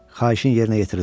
Xahişin yerinə yetirildi.